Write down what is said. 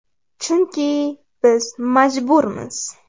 Chunki biz majburmiz.